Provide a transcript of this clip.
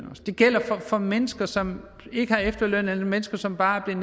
det gælder for mennesker som ikke har efterløn eller mennesker som bare er